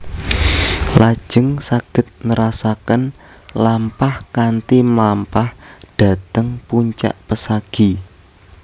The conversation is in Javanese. Lajeng saged nerasaken lampah kanthi mlampah dhateng puncak pesagi